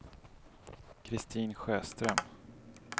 Kristin Sjöström